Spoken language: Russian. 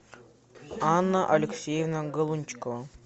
анна алексеевна галунчикова